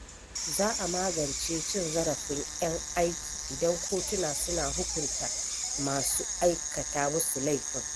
Za a magance cin zarafin ƴan aiki idan kotuna suna hukunta masu aikata musu laifin.